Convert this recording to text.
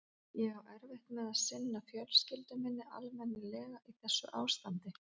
Ég á erfitt með að sinna fjölskyldu minni almennilega í þessu ástandi.